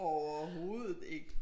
Overhovedet ikke